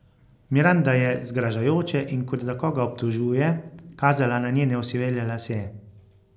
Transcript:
Miranda je zgražajoče in kot da koga obtožuje kazala na njene osivele lase.